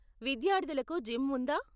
విద్యార్థులకు జిమ్ ఉందా?